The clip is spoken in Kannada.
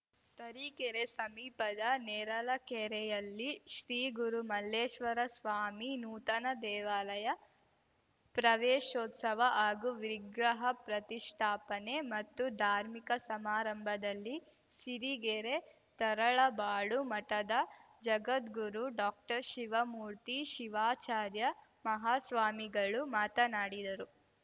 ತರೀಕೆರೆ ಸಮೀಪದ ನೇರಲಕೆರೆಯಲ್ಲಿ ಶ್ರೀ ಗುರು ಮಲ್ಲೇಶ್ವರ ಸ್ವಾಮಿ ನೂತನ ದೇವಾಲಯ ಪ್ರವೇಶೋತ್ಸವ ಹಾಗೂ ವಿಗ್ರಹ ಪ್ರತಿಷ್ಠಾಪನೆ ಮತ್ತು ಧಾರ್ಮಿಕ ಸಮಾರಂಭದಲ್ಲಿ ಸಿರಿಗೆರೆ ತರಳಬಾಳು ಮಠದ ಜಗದ್ಗುರು ಡಾಕ್ಟರ್ಶಿವಮೂರ್ತಿ ಶಿವಾಚಾರ್ಯ ಮಹಾಸ್ವಾಮಿಗಳು ಮಾತನಾಡಿದರು